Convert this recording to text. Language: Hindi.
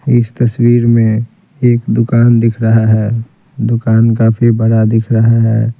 इस तस्वीर में एक दुकान दिख रहा है दुकान काफी बड़ा दिख रहा है।